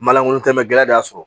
Malankolon tɛ gɛlɛya de y'a sɔrɔ